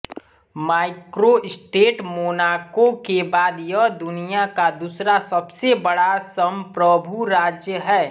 microstate Monaco के बाद यह दुनिया का दूसरा सबसे बड़ा संप्रभु राज्य है